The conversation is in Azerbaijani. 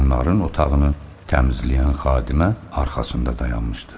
Onların otağını təmizləyən xadimə arxasında dayanmışdı.